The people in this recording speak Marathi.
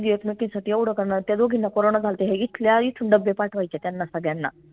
म्हनजे एकमेकींसाठी येवढं करनार त्या दोघींना corona झाल्ता हे इथल्या इथून डब्बे पाठवायच्या त्यांना सगळ्यांना